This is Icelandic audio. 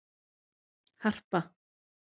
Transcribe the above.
Harpa